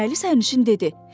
Eynəkli sərnişin dedi.